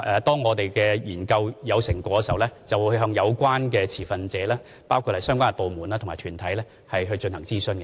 當我們的研究有成果時，便會向有關持份者，包括相關部門和團體進行諮詢。